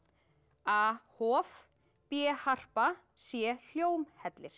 a hof b harpa c